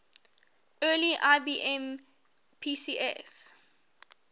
early ibm pcs